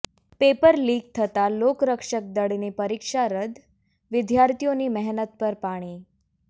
paper leak થતાં લોકરક્ષક દળની પરીક્ષા રદ્દ વિદ્યાર્થીઓની મહેનત પર પાણી